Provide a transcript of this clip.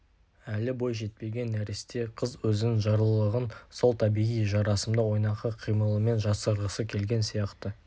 әлі бой жетпеген нәресте қыз өзінің жарлылығын сол табиғи жарасымды ойнақы қимылымен жасырғысы келген сияқты